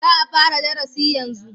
Za a fara darasi yanzu